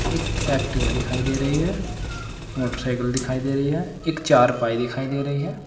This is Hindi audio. एक एक्टिव दिखाई दे रही है मोटरसाइकिल दिखाई दे रही है एक चारपाई दिखाई दे रही है।